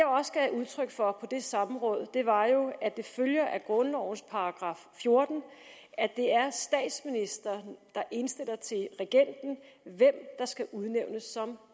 udtryk for på det samråd var jo at det følger af grundlovens § fjorten at det er statsministeren der indstiller til regenten hvem der skal udnævnes som